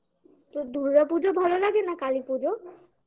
তোর দুর্গাপুজো ভালো লাগে না কালীপুজো?